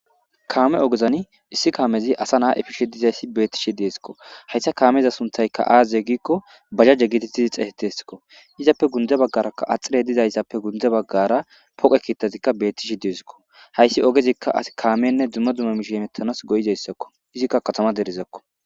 Kaame ogezani issi kaamezi asa naa efishe dizayssi beetishe desko haysa kaameza sunthay aaze gizaysa gidiko bajaje geeteti xeysetesko izappe gunze baggaraka axirey dizaysara gunze baggara pooqe keexetishe beetishe desko hayssi ogezika asi kaamenne dumma dumma miishi hemetanas go'izaysako izika katama derezako.